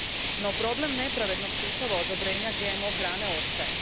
No, problem nepravednog sustava odobrenja GMO hrane ostaje.